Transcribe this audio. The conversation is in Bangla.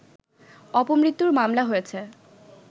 অপমৃত্যুর মামলা হয়েছে